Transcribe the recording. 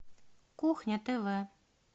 кухня тв